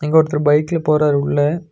இங்க ஒருத்தர் பைக்ல போறாரு உள்ள.